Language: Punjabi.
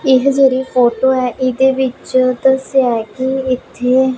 ਇਹ ਜਿਹੜੀ ਫੋਟੋ ਹੈ ਇਹਦੇ ਵਿੱਚ ਦੱਸਿਆ ਹੈ ਕੀ ਇੱਥੇ--